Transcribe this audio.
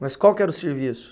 Mas qual que era o serviço?